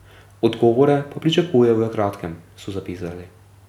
Odgovore pa pričakujejo v kratkem, so zapisali.